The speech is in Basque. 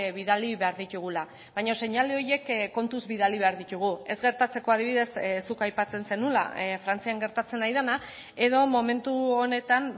bidali behar ditugula baina seinale horiek kontuz bidali behar ditugu ez gertatzeko adibidez zuk aipatzen zenuela frantzian gertatzen ari dena edo momentu honetan